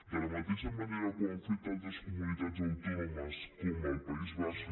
de la mateixa manera que ho han fet altres comunitats autònomes com el país basc